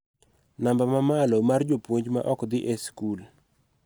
Namba ma malo mar jopuonj ma ok dhi e skul.